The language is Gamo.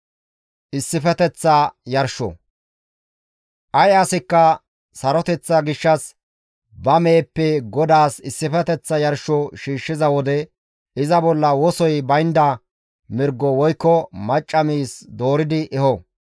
«Ay asikka saroteththa gishshas ba meheppe GODAAS issifeteththa yarsho shiishshiza wode iza bolla wosoy baynda mirgo woykko macca miiz dooridi eho.